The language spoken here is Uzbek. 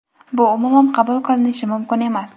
bu umuman qabul qilinishi mumkin emas.